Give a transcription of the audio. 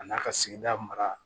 A n'a ka sigida mara